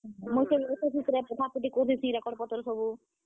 ମୁଇଁ ଫେର ସେ ଭିତରେ ପଠାପୁଠି କରୁଥିସିଁ record ପତର୍ ସବୁ।